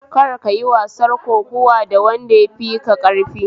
Kar kayi wasar kokuwa da wanda yafika ƙarfi